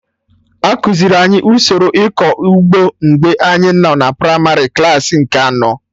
Ekuziri anyị usoro ịkọ ụgbọ mgbe anyị nọ na primarị klaasị nke anọ